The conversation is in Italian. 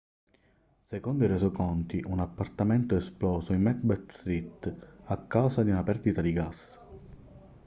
secondo i resoconti un appartamento è esploso in macbeth street a causa di una perdita di gas